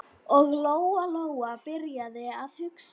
Og Lóa-Lóa byrjaði að hugsa.